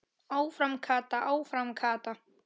Áfram Kata, áfram Kata!